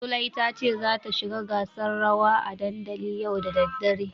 Zulai tace zata shiga gasar rawa a dandali yau da daddare.